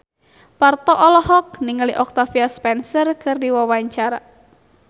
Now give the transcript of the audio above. Parto olohok ningali Octavia Spencer keur diwawancara